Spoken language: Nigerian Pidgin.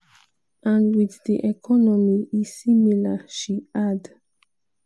"and wit di economy e similar" she add.